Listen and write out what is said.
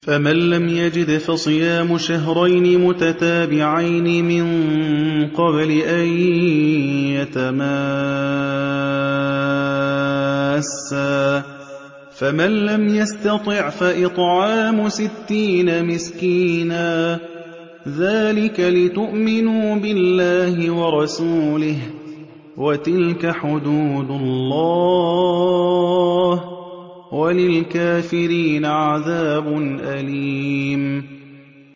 فَمَن لَّمْ يَجِدْ فَصِيَامُ شَهْرَيْنِ مُتَتَابِعَيْنِ مِن قَبْلِ أَن يَتَمَاسَّا ۖ فَمَن لَّمْ يَسْتَطِعْ فَإِطْعَامُ سِتِّينَ مِسْكِينًا ۚ ذَٰلِكَ لِتُؤْمِنُوا بِاللَّهِ وَرَسُولِهِ ۚ وَتِلْكَ حُدُودُ اللَّهِ ۗ وَلِلْكَافِرِينَ عَذَابٌ أَلِيمٌ